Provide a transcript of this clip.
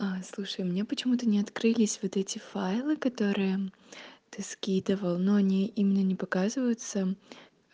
а слушай мне почему-то не открылись вот эти файлы которые ты скидывал но не именно не показываются